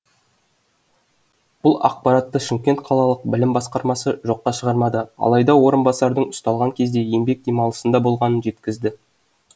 бұл ақпаратты шымкент қалалық білім басқармасы жоққа шығармады алайда орынбасардың ұсталған кезде еңбек демалысында болғанын жеткізді